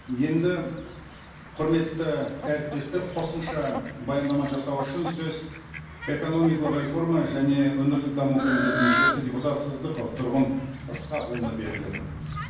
енді құрметті әріптестер қосымша баяндама жасау үшін сөз экономикалық реформа және өңірлік даму комитетінің мүшесі депутат сыздықов тұрғын ысқақұлына беріледі